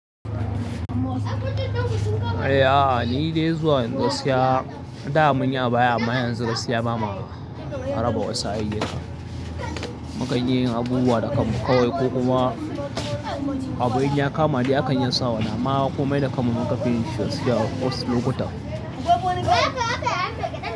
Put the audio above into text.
Eh, a'a ni dai zuwa yanzu gaskiya da mun yi abaya ama yanzu da sai ba ma haraba wasu ayyana. Mukanyi abubuwa da kan mu kawai ko kuma abu in ya kama dai akan yansa. Wannan ma wa ko mai da kamin muka finishi sai da wasu lokuta.